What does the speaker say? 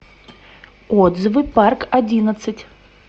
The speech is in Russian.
отзывы парк одиннадцать